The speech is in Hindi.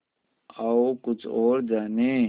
आओ कुछ और जानें